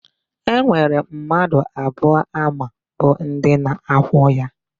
E nwere mmadu abụọ ama bụ ndi na-akwọ ya.